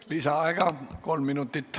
Lisaaeg kolm minutit.